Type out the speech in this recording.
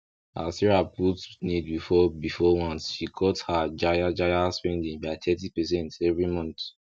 as sarah put need before before want she cut her jaye jaye spending by thirty percent every month